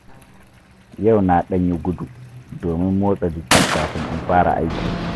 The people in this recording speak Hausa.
Yau na ɗan yi gudu domin motsa jiki kafin in fara aiki.